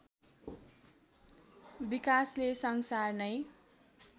विकासले संसार नै